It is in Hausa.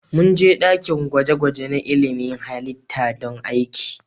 Mun je dakin gwaje-gwaje na ilmin halitta don aiki.